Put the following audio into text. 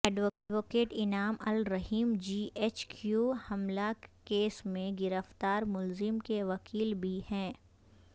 advocate Inam ur Rahim G H Q حملہ case میں گرفتار ملزم کے وکیل بھی ہیں